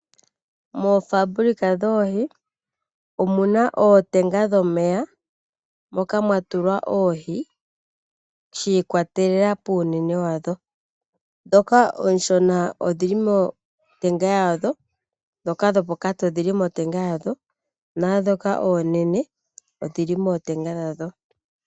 Moofaambulika dhoohi omuna ootenga dhomeya moka mwatulwa oohi shiikwatelela puunene wadho. Dhoka ooshona odhili motenga yadho, dhoka dhopokati odhili motenga yadho naadhoka oonene odhili mootenga dha dho.